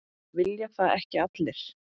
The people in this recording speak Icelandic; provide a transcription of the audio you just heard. Vilja það ekki allir?